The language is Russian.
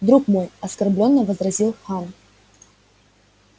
друг мой оскорбленно возразил хан